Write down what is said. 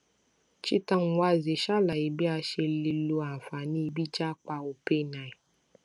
cheta nwanze ṣàlàyé bí a ṣe lè lo àǹfààní bíi jápa openai